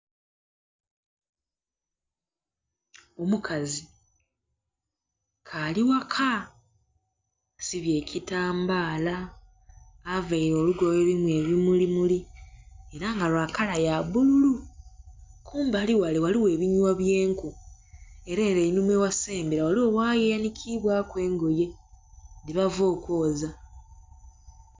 Omukazi k'ali ghaka asibye ekitambaala, avaire olugoye olulimu ebimulimuli era nga lwa kala ya bbululu, kumbali ghale ghaligho ebinhwa bye enku era ere einhuma eghasemba eriyo waaya eyanhikiibwaku engoye dhebava okwoza.